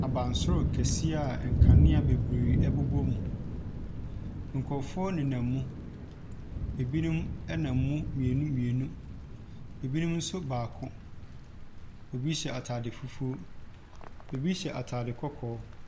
Abansoro kɛseɛ a nkanea bebree bobɔ mu. Nkrɔfoɔ nenam mu. Ebinom nenam mu mmienu mmienu. Ebinom nso baako. Ebi hyɛ ataade fufuo. Ebi nso hywɛ ataade kɔkɔɔɔ.